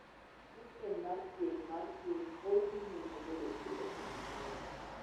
Sistem mar thieth mar piny pod dhi nyime bedo gi omwom moromo.